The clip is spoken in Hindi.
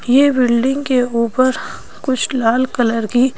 ये बिल्डिंग के ऊपर कुछ लाल कलर की--